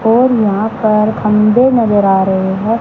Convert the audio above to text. और वहां पर खंभे नजर आ रहे हैं।